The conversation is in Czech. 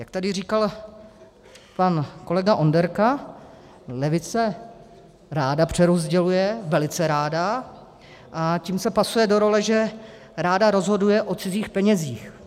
Jak tady říkal pan kolega Onderka, levice ráda přerozděluje, velice ráda, a tím se pasuje do role, že ráda rozhoduje o cizích penězích.